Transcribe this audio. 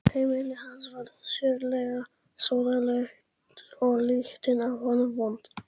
Heimili hans var sérlega sóðalegt og lyktin af honum vond.